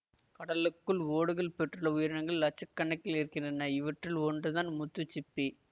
கடலுக்குள் ஓடுகள் பெற்றுள்ள உயிரினங்கள் லட்சக்கணக்கில் இருக்கின்றன இவற்றில் ஒன்றுதான் முத்துசிப்பி